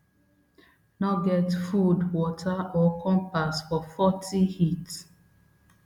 no get food water or compass for fortyc heat